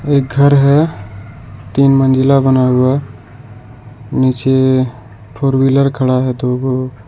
एक घर है तीन मंजिला बना हुआ नीचे फोर व्हीलर खड़ा है दो गो।